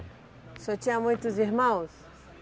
O senhor tinha muitos irmãos?